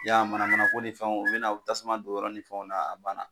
Y'a ye manamana ko ni fɛn ninnu u bɛna tasuma don yɔrɔ ni fɛnw na a banna.